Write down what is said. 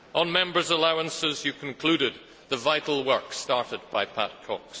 On Members' allowances, you concluded the vital work started by Pat Cox.